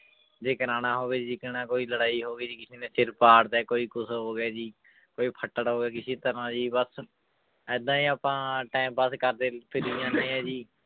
ਜੇ ਕਰਵਾਉਣਾ ਹੋਵੇ ਕੋਈ ਲੜਾਈ ਹੋਵੇ ਜੀ ਕਿਸੇ ਨੇ ਸਿਰ ਪਾੜ ਤਾ ਕੋਈ ਕੁਛ ਹੋ ਗਿਆ ਜੀ ਕੋਈ ਫੱਟੜ ਹੋ ਗਿਆ ਕਿਸੇ ਤਰ੍ਹਾਂ ਜੀ ਬਸ ਏਦਾਂ ਹੀ ਆਪਾਂ time pass ਕਰਦੇ ਫਿਰੀ ਜਾਂਦੇ ਹਾਂ ਜੀ